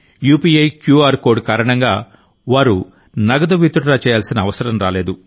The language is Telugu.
యూపీఐ క్యూఆర్ కోడ్ కారణంగావారు నగదు విత్డ్రా చేయాల్సిన అవసరం రాలేదు